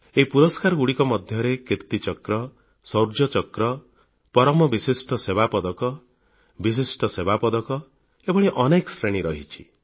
ଏହି ପୁରସ୍କାରଗୁଡ଼ିକ ମଧ୍ୟରେ କିର୍ତ୍ତୀଚକ୍ର ଶୌର୍ଯ୍ୟଚକ୍ର ପରମ ବିଶିଷ୍ଟ ସେବା ପଦକ ବିଶିଷ୍ଟ ସେବା ପଦକ ଏଭଳି ଅନେକ ଶ୍ରେଣୀ ରହିଛି